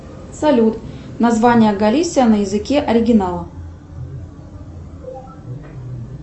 салют название галисия на языке оригинала